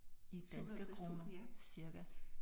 I danske kroner cirka